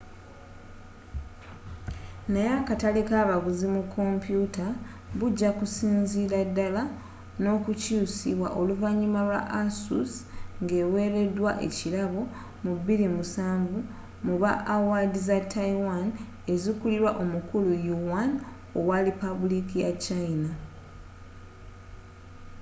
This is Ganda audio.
naye akatale kabaguzi mu kompyuta bujakusinzirira ddala nokukyusibwa oluvanyuma lwa asus ngeweredwa wkirabo mu 2007 mu ba awaadi za taiwan ezikulirwa omukulu yuan owa lipabuliika ya china